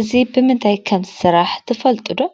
እዚ ብምንታይ ከምዝስራሕ ትፈልጡ ዶ ?